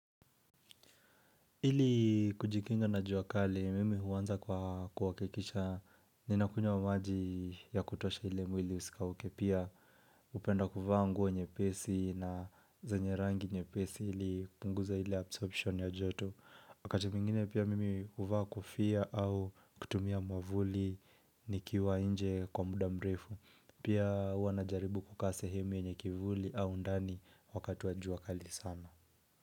Ili kujikinga na jua kali, mimi huanza kwa kuhakikisha ninakunywa maji ya kutosha ili mwili usikauke pia hupenda kuvaa nguo nyepesi na zenye rangi nyepesi ili kupunguza ile absorption ya joto. Wakati mwingine pia mimi huvaa kofia au kutumia mwavuli nikiwa nje kwa muda mrefu. Pia hua najaribu kukaa sehemu yenye kivuli au undani wakati wa jua kali sana.